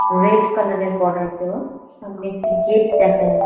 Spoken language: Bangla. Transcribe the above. রেড কালার -এর বর্ডার দেওয়া। সামনে একটি গেট দেখা যা--